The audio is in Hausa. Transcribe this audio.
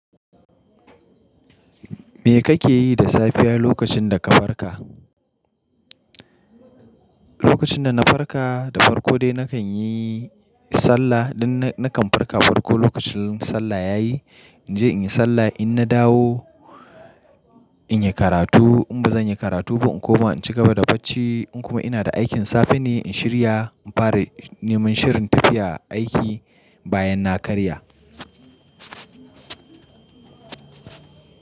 Me kake yi da safiya lokacin da ka farka? Lokacin da na farka, da farko dai nakan yi sallah. Idan nakan farka farko lokacin sallah ya yi, in je in yi sallah. In na dawo, in yi karatu. In ba zan yi karatu ba, in kuma ban cika ba da bacci, in kuma ina da aikin safe ne, in shirya. In fara neman shirin tafiya aiki bayan na karya.